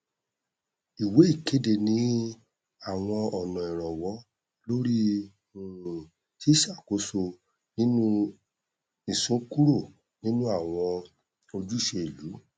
ìwé ìkéde ní àwọn ọnà ìrànwọ lórí um ṣíṣàkóso nínú ìsúnkúrò nínú àwọn ojúṣe ìlú